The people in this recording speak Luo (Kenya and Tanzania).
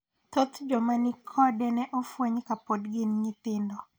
Thoth joma nig kode ne ofweny kane pof gin nyithindo.